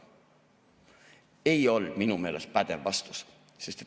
Ei olnud minu meelest pädev vastus.